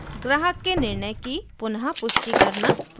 ग्राहक के निर्णय की पुनः पुष्टि करना